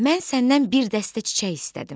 Mən səndən bir dəstə çiçək istədim.